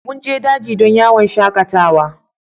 Mun je daji don yawon shakatawa.